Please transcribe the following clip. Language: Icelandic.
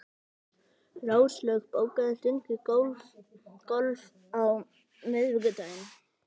Róslaug, bókaðu hring í golf á miðvikudaginn.